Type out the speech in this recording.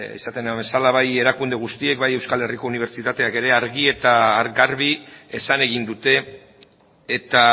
esaten den bezala bai erakunde guztiek bai euskal herriko unibertsitateak ere argi eta garbi esan egin dute eta